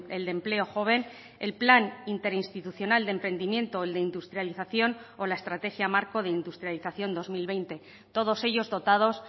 el de empleo joven el plan interinstitucional de emprendimiento o el de industrialización o la estrategia marco de industrialización dos mil veinte todos ellos dotados